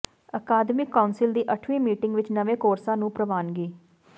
ਅਕਾਦਮਿਕ ਕਾਊਂਸਿਲ ਦੀ ਅੱਠਵੀਂ ਮੀਟਿੰਗ ਵਿਚ ਨਵੇਂ ਕੋਰਸਾਂ ਨੂੰ ਪ੍ਰਵਾਨਗੀ